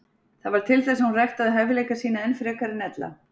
Það varð til þess að hún ræktaði hæfileika sína enn frekar en ella.